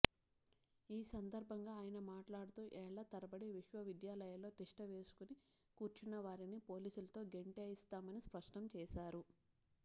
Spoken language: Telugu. ఈ సందర్భంగా ఆయన మాట్లాడుతూ ఏళ్ళ తరబడి విశ్వవిద్యాలయాల్లో తిష్ట వేసుకుని కూర్చున్నవారిని పోలీసులతో గెంటేయిస్తామని స్పష్టం చేశారు